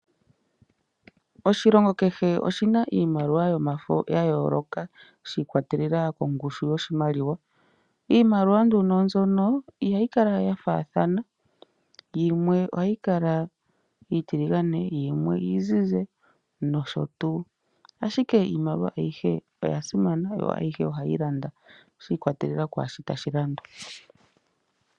Oshilongo kehe oshi na iimaliwa yomafo ya yooloka, shi ikwatelela kongushu yoshimaliwa. Iimaliwa nduno mbyono ihayi kala ya faathana, yimwe oha yi kala iitiligane, yimwe iizizi nsh. Ashike iimaliwa ayihe oya simana yo ayihe ohayi landa, shi ikwatelela kwaashi tashi landwa.